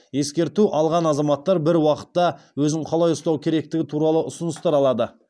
ескерту алған азаматтар бір уақытта өзін қалай ұстау керектігі туралы ұсыныстар алады